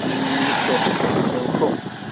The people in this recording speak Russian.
там никто то есть я ушёл